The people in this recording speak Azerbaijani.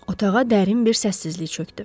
Otağa dərin bir səssizlik çökdü.